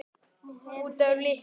Út af litnum?